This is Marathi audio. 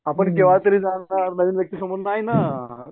आपण केव्हातरी जाणार नाही ना